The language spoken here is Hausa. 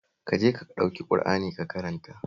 Ka je ka ɗauki Ƙur'ani ka karanta